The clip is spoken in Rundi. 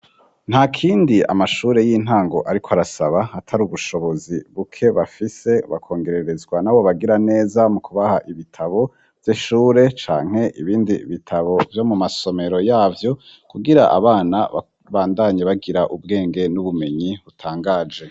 Ntakindi amashure y'intango arikw' arasaba atari ubushobozi buke bafise bakongererezwa nabo bagira neza mu kubaha ibitabo vy'ishure ,canke ibindi bitabo vyo mu masomero yavyo kugira abana ,bandanye bagira ubwenge n'ubumenyi hutangaje.